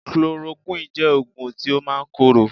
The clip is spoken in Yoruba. Chloroquine jẹ́ oògùn tí ó máa ń korò